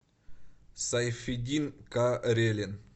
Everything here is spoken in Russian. сайфетдин карелин